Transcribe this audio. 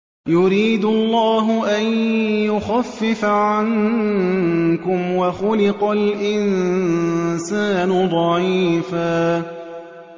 يُرِيدُ اللَّهُ أَن يُخَفِّفَ عَنكُمْ ۚ وَخُلِقَ الْإِنسَانُ ضَعِيفًا